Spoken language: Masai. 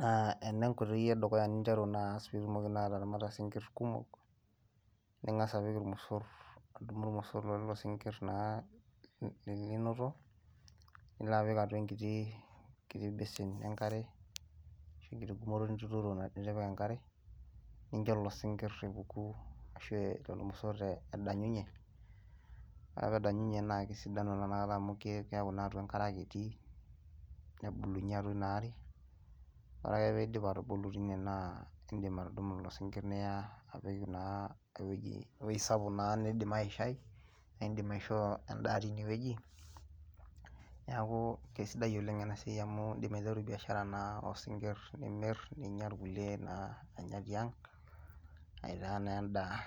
naa ena enkoitoi edukuya niteru naa Aas piitumoki ataramata isingir kumok , ningas apik irmosor adum irmosor leelo singir naa lelolinoto , nilaa apik atua enkiti besin enkare , enkiti gumoto nituturo nitipika enkare ninjo lelo singir epuku ashu injo irmosor edanyunye , wore ake pee edanyunye naa kisidai nakata amu keaku naa atua engare ake etii nebulunye atua ina aare , wore ake piidip atubulu tine naa idim atudumu lelo singir niyaa apik naa eweji sapuk naa niidim aishai naa idim aisho endaa tineweji . Niaku isidai oleng enaa siai amu idim aiteru biashara naa osingir, nimir ,ninya irkulie naa anya tiang aitaa na endaa